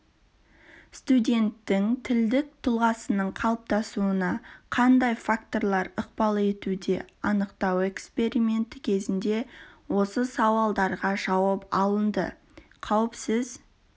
студенттің тілдік тұлғасының қалыптасуына қандай факторлар ықпал етуде анықтау эксперименті кезінде осы сауалдарға жауап алынды қауіпсіз